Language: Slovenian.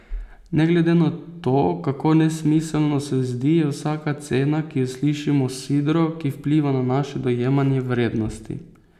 Ne glede na to, kako nesmiselno se zdi, je vsaka cena, ki jo slišimo, sidro, ki vpliva na naše dojemanje vrednosti.